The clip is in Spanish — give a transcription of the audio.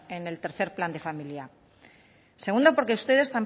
en el tercero plan de familia segundo porque ustedes